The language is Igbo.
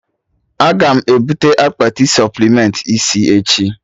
Aga m ebute akpati supplementị isi echi